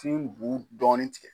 Tin bu dɔɔni tigɛ.